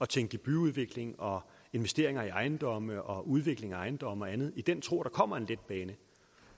tænke i byudvikling og investeringer i ejendomme og udvikling af ejendomme og andet i den tro at der kommer en letbane